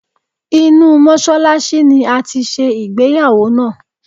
Inú Mọ́ṣálásí ni a ti ṣe ìgbéyàwó náà.